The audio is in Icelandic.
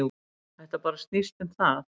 Þetta bara snýst um það.